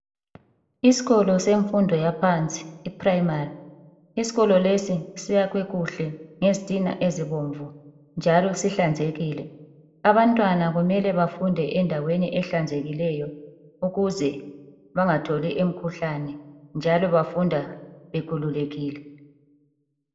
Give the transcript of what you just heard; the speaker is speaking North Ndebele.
Isikolo semfundo yaphansi "iprimary". Isikolo lesi siyakhwe kuhle ngezitina ezibomvu ,njalo sihlanzekile. Abantwana kumele bafunde endaweni ehlanzekileyo ukuze bengatholi imikhuhlane njalo bafunda bekhululekile.